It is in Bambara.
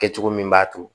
Kɛcogo min b'a to